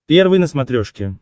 первый на смотрешке